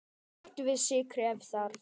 Bættu við sykri ef þarf.